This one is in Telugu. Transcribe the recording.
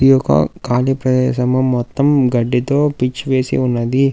ఇది ఒక ఖాలీ ప్రదేశం మొత్తం గడ్డితో పిచ్ వేసి ఉన్నది.